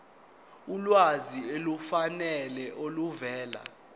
ulwazi olufanele oluvela